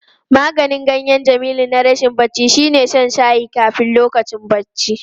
Maganin ganyen Jamilu na rashin bacci shine shan shayin kafin lokacin bacci.